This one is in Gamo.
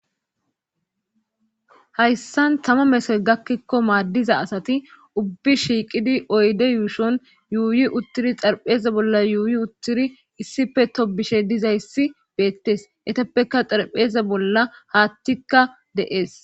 Hayssan tama mesoy gakkikko maaddiza asati ubbi shiiqidi oyde yuushon yuuyi uttiri xarpheze bolla yuuyi uttiri issife to bishe dizayssi beettes etappeka xarpheze bolla haattikka de'ees.